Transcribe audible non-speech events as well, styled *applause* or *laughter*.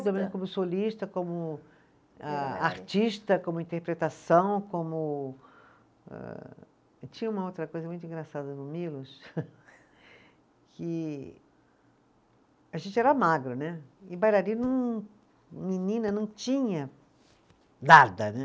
*unintelligible* como solista, como ah, artista, como interpretação, como âh, tinha uma outra coisa muito engraçada no Milos, *laughs* que a gente era magro né, e bailarino, menina, não tinha nada né.